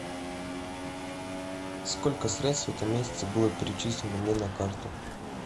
сколько средств в этом месяце было перечислено мне на карту